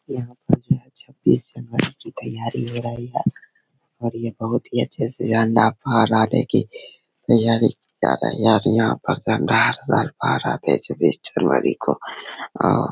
यहाँ पर जो है छब्बीस जनवरी की तैयारी हो रही है और ये बहुत ही अच्छे से झण्डा पहराने तैयारी की जा रही है और यहाँ पर झण्डा हर साल भारत छब्बीस जनवरी को ओ --